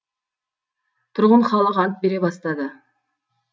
тұрғын халық ант бере бастады